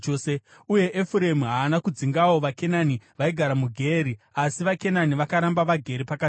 Uye Efuremu haana kudzingawo vaKenani vaigara muGeeri, asi vaKenani vakaramba vagere pakati pavo.